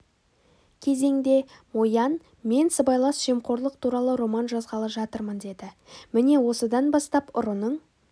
кезеңде мо ян мен сыбайлас жемқорлық туралы роман жазғалы жатырмын деді міне осыдан бастап ұрының